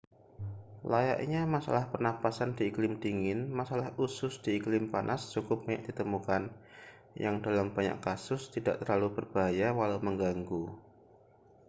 layaknya masalah pernapasan di iklim dingin masalah usus di iklim panas cukup banyak ditemukan yang dalam banyak kasus tidak terlalu berbahaya walau mengganggu